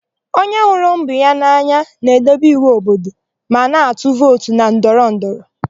Onye hụrụ mba ya n'anya na-edebe iwu obodo ma na-atụ vootu na ndọrọndọrọ.